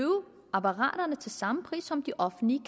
apparaterne til samme pris som det offentlige